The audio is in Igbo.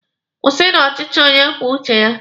Kwụsịnụ ọchịchị onye kwuo uche ya!